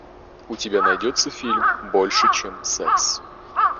у тебя найдется фильм больше чем секс